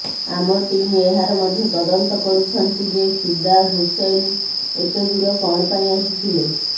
ଆମ ଟିମ୍ ଏହାର ମଧ୍ୟ ତଦନ୍ତ କରୁଛନ୍ତି ଯେ ଫିଦା ହୁସୈନ ଏତେ ଦୂର କଣ ପାଇଁ ଆସିଥିଲେ